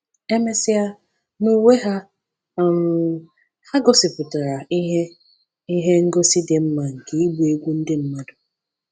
E mesịa, n’uwe ha, um ha gosipụtara ihe ihe ngosi dị mma nke ịgba egwú ndị mmadụ.